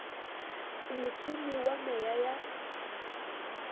o motsumi wa meya ya